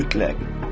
Mütləq.